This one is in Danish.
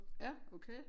Ja okay